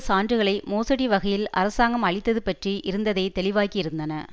சான்றுகளை மோசடி வகையில் அரசாங்கம் அளித்தது பற்றி இருந்ததைத் தெளிவாக்கியிருந்தன